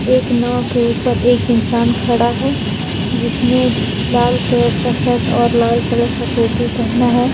एक नाव के ऊपर एक इंसान खड़ा है जिसने लाल कलर का शर्ट और लाल कलर का टोपी पहना है।